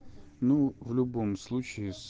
ну в любом случае